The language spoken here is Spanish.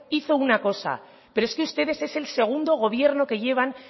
hizo una cosa pero es que ustedes es el segundo gobierno que llevan